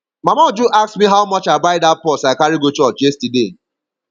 mama uju ask me how much i buy dat purse i carry go church yesterday